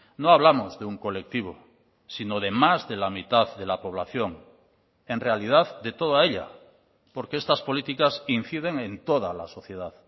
no hablamos de un colectivo sino de más de la mitad de la población en realidad de toda ella porque estas políticas inciden en toda la sociedad